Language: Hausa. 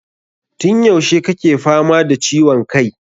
Tun yaushe kake fama da ciwon kai?